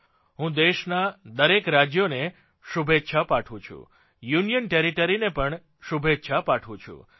હું દેશનાં દરેક રાજ્યોને શુભેચ્છા પાઠવું છું યુનિયન ટેરીટરી ને પણ શુભેચ્છા પાઠવું છું